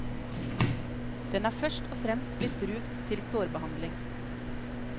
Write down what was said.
Den er først og fremst blitt brukt til sårbehandling.